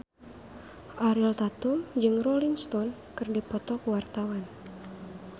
Ariel Tatum jeung Rolling Stone keur dipoto ku wartawan